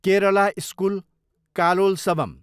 Kerala school Kalolsavam